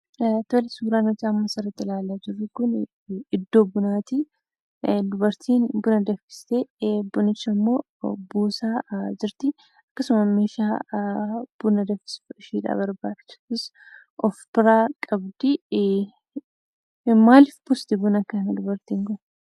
Tole, suuraan asirratti ilaalaa jirru kuni, iddoo bunati. dubartiin buna danfistee, bunichammoo buusaa jirti. akkasuma meeshaa buna danfisu, ishee barbaachisuus of-bira qabdi. maaliif buusti buna kana dubartiin kun?